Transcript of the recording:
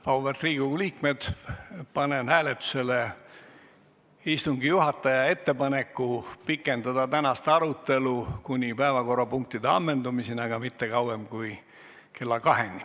Auväärt Riigikogu liikmed, panen hääletusele istungi juhataja ettepaneku pikendada tänast arutelu kuni päevakorrapunktide ammendumiseni, aga mitte kauem kui kella 14-ni.